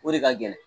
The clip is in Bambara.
O de ka gɛlɛn